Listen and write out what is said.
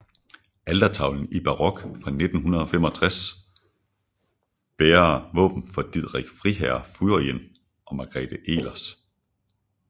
Altertavlen i barok fra 1685 bærer våben for Didrik friherre Fuiren og Margrethe Elers